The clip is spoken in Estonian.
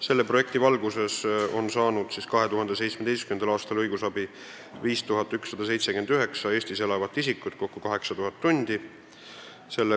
Selle projekti raames on 2017. aastal saanud õigusabi 5179 Eestis elavat isikut, kokku 8000 tundi.